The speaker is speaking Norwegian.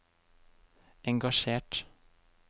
engasjert